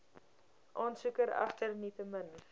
aansoeker egter nietemin